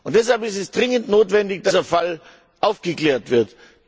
Deshalb ist es dringend notwendig, dass dieser Fall aufgeklärt wird.